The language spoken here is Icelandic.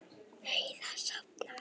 Heiða safnaði